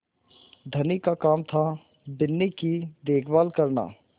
धनी का काम थाबिन्नी की देखभाल करना